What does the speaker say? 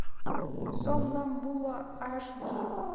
сомнамбула аш ди